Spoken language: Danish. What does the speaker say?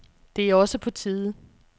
Det er også på tide.